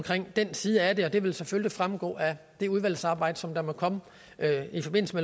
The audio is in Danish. den side af det og det vil selvfølgelig fremgå af det udvalgsarbejde som der måtte komme i forbindelse